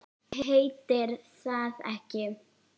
Heitir það ekki